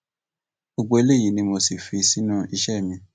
gbogbo eléyìí ni mo sì fi sínú iṣẹ mi